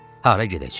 Hara gedəcəyik?